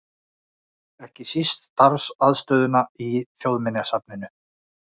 Ekki síst starfsaðstöðuna í Þjóðminjasafninu.